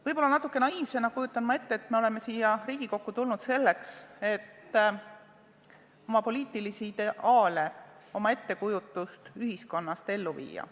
Võib-olla ma kujutan natuke naiivsena ette, et oleme siia Riigikokku tulnud selleks, et oma poliitilisi ideaale, oma ettekujutust ühiskonnast ellu viia.